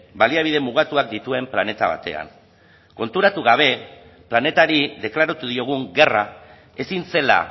baliabide mugatuak dituen planeta batean konturatu gabe planetari deklaratu diogun gerra ezin zela